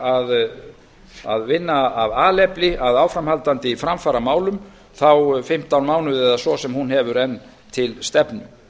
gera að vinna af alefli að áframhaldandi framfaramálum þá fimmtán mánuði eða svo sem hún hefur enn til stefnu